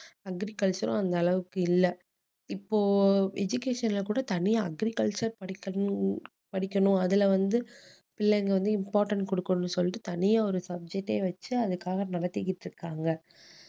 agriculture உம் அந்த அளவுக்கு இல்ல இப்போ education ல கூட தனியா agriculture படிக்கணும் படிக்கணும் அதுல வந்து பிள்ளைங்க வந்து important கொடுக்கணும்னு சொல்லிட்டு தனியா ஒரு subject ஏ வச்சு அதுக்காக நடத்திக்கிட்டு இருக்காங்க